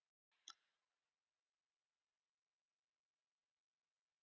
Það er lygi!